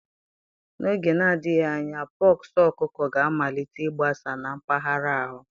N'oge na-adịghị anya, pox ọkụkọ ga-amalite ịgbasa na mpaghara ahụ